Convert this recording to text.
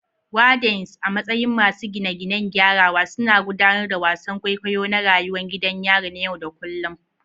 Wardens, a matsayin masu gine-ginen gyarawa, suna gudanar da wasan kwaikwayo na rayuwar gidan yari na yau da kullun.